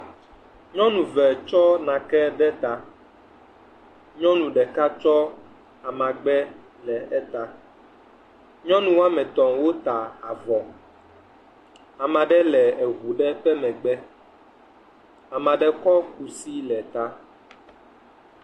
Nyɔnu eve tsɔ nake ɖe eta. Nyɔnu ɖeka tsɔ amagbe le eta. Nyɔ woa me etɔ̃ wota avɔ. Ame aɖe le eŋu aɖe ƒe megbe. Ame aɖe kɔ kusi le ta.